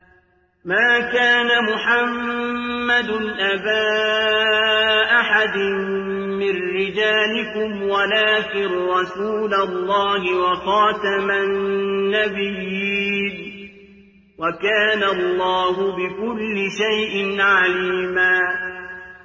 مَّا كَانَ مُحَمَّدٌ أَبَا أَحَدٍ مِّن رِّجَالِكُمْ وَلَٰكِن رَّسُولَ اللَّهِ وَخَاتَمَ النَّبِيِّينَ ۗ وَكَانَ اللَّهُ بِكُلِّ شَيْءٍ عَلِيمًا